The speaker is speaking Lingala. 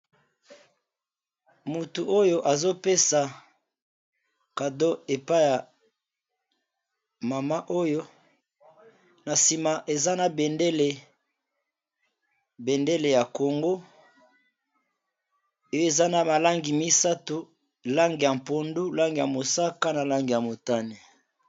Moto oyo azo pesa cadeau epai ya mama oyo, na sima eza na bendele ya Congo, eza na langi misato, langi ya pondu, langi ya mosaka na langi ya motane .